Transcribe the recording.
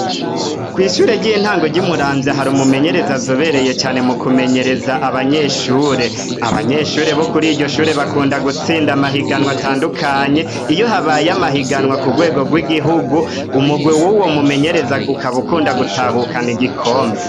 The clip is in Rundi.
Kw'ishure ry'intango ry'umuramvya hari umumenyerezi azobereye cane mu kumenyereza abanyeshure abanyeshure bo kuri iryo shure bakunda gutsinda amahiganwa atandukanye iyo habaye amahiganwa ku rwego rw'igihugu umugwe w'uwo mumenyereza ukabaukunda gutahukana igikombe.